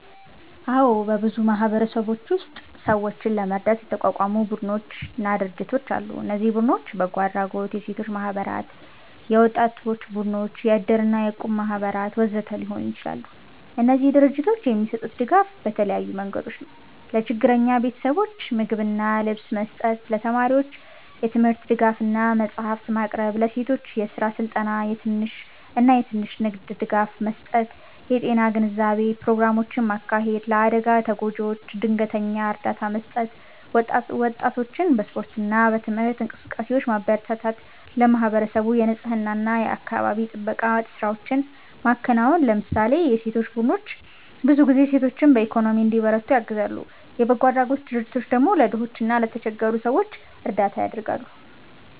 አዎ፣ በብዙ ማህበረሰቦች ውስጥ ሰዎችን ለመርዳት የተቋቋሙ ቡድኖችና ድርጅቶች አሉ። እነዚህ ቡድኖች በጎ አድራጎት፣ የሴቶች ማህበራት፣ የወጣቶች ቡድኖች፣ የእድር እና የእቁብ ማህበራት ወዘተ ሊሆኑ ይችላሉ። እነዚህ ድርጅቶች የሚሰጡት ድጋፍ በተለያዩ መንገዶች ነው፦ ለችግረኛ ቤተሰቦች ምግብና ልብስ መስጠት ለተማሪዎች የትምህርት ድጋፍ እና መጽሐፍት ማቅረብ ለሴቶች የስራ ስልጠና እና የትንሽ ንግድ ድጋፍ መስጠት የጤና ግንዛቤ ፕሮግራሞችን ማካሄድ ለአደጋ ተጎጂዎች ድንገተኛ እርዳታ መስጠት ወጣቶችን በስፖርት እና በትምህርት እንቅስቃሴዎች ማበረታታት ለማህበረሰቡ የንፅህና እና የአካባቢ ጥበቃ ስራዎችን ማከናወን ለምሳሌ የሴቶች ቡድኖች ብዙ ጊዜ ሴቶችን በኢኮኖሚ እንዲበረቱ ያግዛሉ፣ የበጎ አድራጎት ድርጅቶች ደግሞ ለድሆች እና ለተቸገሩ ሰዎች እርዳታ ያደርጋሉ።